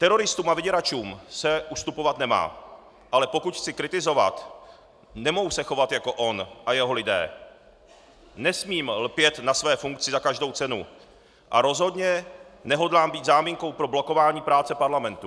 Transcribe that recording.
Teroristům a vyděračům se ustupovat nemá, ale pokud chci kritizovat, nemohu se chovat jako on a jeho lidé, nesmím lpět na své funkci za každou cenu a rozhodně nehodlám být záminkou pro blokování práce parlamentu.